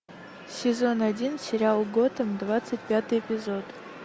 сезон один сериал готэм двадцать пятый эпизод